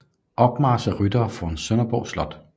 Opmarch af ryttere foran Sønderborg slot